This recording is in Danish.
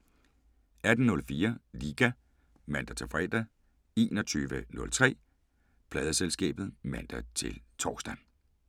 18:04: Liga (man-fre) 21:03: Pladeselskabet (man-tor)